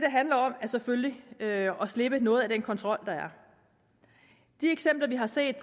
selvfølgelig at at slippe noget af den kontrol der er vi har set